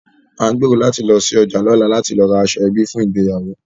À ń gbèrò láti lọ sí ọjà lọ́la láti lọ ra aṣọ ẹbí fún ìgbéyàwó